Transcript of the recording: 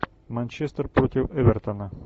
манчестер против эвертона